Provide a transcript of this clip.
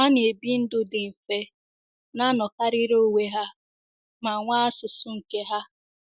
Ha na - ebi ndụ dị mfe, na - anọkarịrị onwe ha, ma nwee asụsụ nke ha.